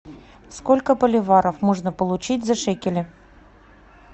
сколько боливаров можно получить за шекели